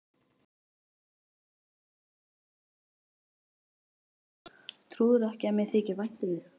Trúirðu ekki að mér þyki vænt um þig?